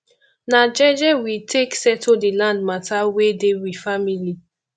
na jeje we take settle di land mata wey dey we family